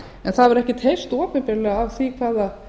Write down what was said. en það hefur ekkert heyrst opinberlega af því hvaða